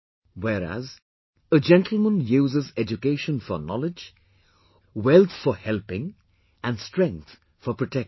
Whereas, a gentleman uses education for knowledge, wealth for helping and strength for protecting